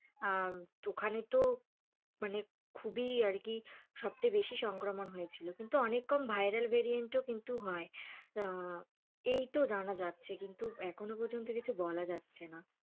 ওখানে তো মানে খুবই আরকি সবচেয়ে বেশি সংক্রমণ হয়েছিলো কিন্তু অনেক কম ভাইরাল ভ্যারিয়েন্টও কিন্তু হয়, এই তো জানা যাচ্ছে, কিন্তু এখনও পর্যন্ত কিছু বলা যাচ্ছে না।